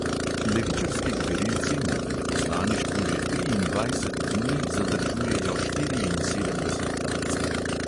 Levičarski gverilci na veleposlaništvu že triindvajset dni zadržujejo štiriinsedemdeset talcev.